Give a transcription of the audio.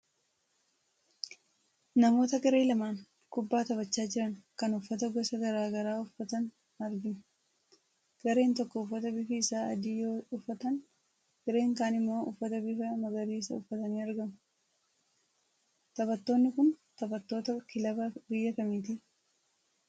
Namoota garee lamaan kubbaa taphachaa jiran kan uffata gosa garaagaraa uffatan argina. Gareen tokko uffata bifi isaa adii yoo uffatan gareen kaan immoo uffata bifa magariisa uffatanii argamu. Taphattonni kun taphattoota kilaba biyya kamiiti?